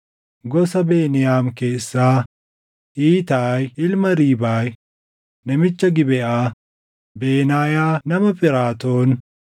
gosa Beniyaam keessaa Iitaayi ilma Riibaay, namicha Gibeʼaa, Benaayaa nama Phiraatoon,